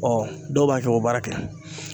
Ɔ dɔw b'a kɛ k'o baara kɛ.